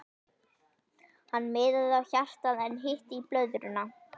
Hann miðaði á hjartað en hitti blöðruna.